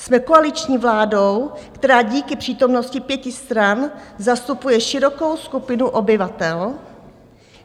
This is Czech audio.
Jsme koaliční vládou, která díky přítomnosti pěti stran zastupuje širokou skupinu obyvatel.